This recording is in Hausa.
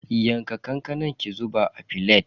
Yanka kankanan ki zuba a filet.